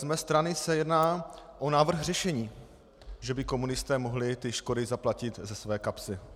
Z mé strany se jedná o návrh řešení, že by komunisté mohli ty škody zaplatit ze své kapsy.